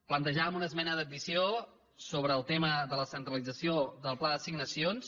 plantejàvem una esmena d’addició sobre el tema de la centralització del pla d’assignacions